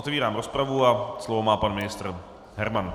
Otvírám rozpravu a slovo má pan ministr Herman.